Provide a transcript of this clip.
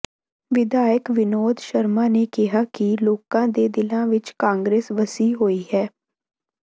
ਵਿਧਾਇਕ ਵਿਨੋਦ ਸ਼ਰਮਾ ਨੇ ਕਿਹਾ ਕਿ ਲੋਕਾਂ ਦੇ ਦਿਲਾਂ ਵਿੱਚ ਕਾਂਗਰਸ ਵਸੀ ਹੋਈ ਹੈ